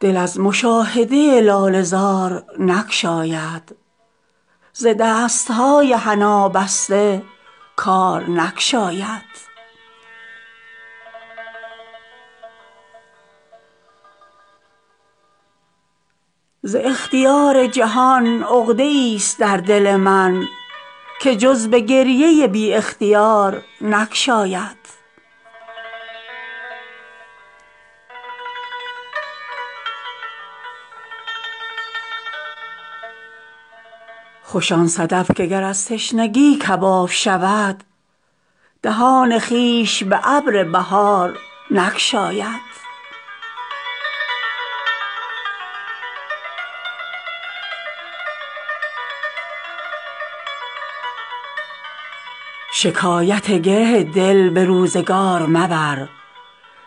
دل از مشاهده لاله زار نگشاید ز دستهای حنابسته کارنگشاید گره ز غنچه پیکان زنگ بسته ما به تر زبانی خون شکار نگشاید ز خون زیاده شود رنگ غنچه پیکان دل غمین ز می خوشگوار نگشاید ز اختیار جهان عقده ای است در دل من که جز به گریه بی اختیار نگشاید طلسم هستی خود ناشکسته چون مردان ترا به روی دل این نه حصار نگشاید ز آه ما نشود نرم دل کواکب را که دود آب ز چشم شرار نگشاید بساز با دل پربار خود گر آزادی که هیچ کس ز دل سرو بار نگشاید خوش آن صدف که گر از تشنگی کباب شود دهان خویش به ابر بهار نگشاید شکایت گره دل به روزگار مبر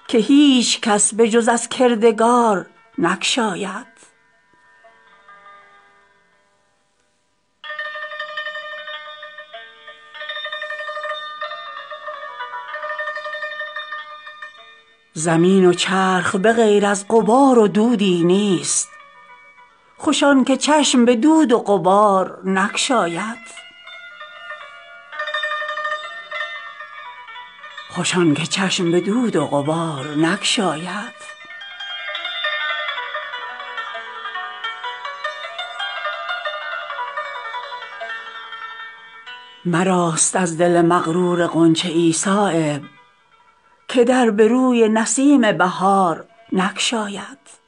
که هیچ کس به جز از کردگار نگشاید اگر چه ذره سزاوار مهر تابان نیست نمی شود که ز پرتو کنار نگشاید مجوی خاطر جمع از جهان ناامنی که تیغ را زکمر کوهسار نگشاید ز تنگنای جهان کی گشاده می گردد دلی که در بر و آغوش یار نگشاید زمین وچرخ بغیر از غبار و دودی نیست خوش آن که چشم به دود وغبار نگشاید مراست از دل مغرور غنچه ای صایب که در به روی نسیم بهار نگشاید